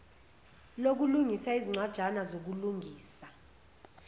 lokulungisa izincwajana zokulungisa